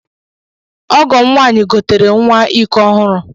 Ọgọm nwanyi gotere nwa ikọ ohụrụ.